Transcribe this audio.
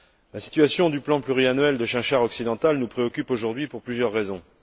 La situation du plan pluriannuel de chinchard occidental nous préoccupe aujourd'hui pour plusieurs raisons.